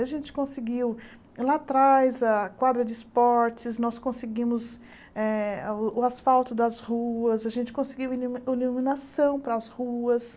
A gente conseguiu lá atrás a quadra de esportes, nós conseguimos eh o asfalto das ruas, a gente conseguiu ilimu iluminação para as ruas.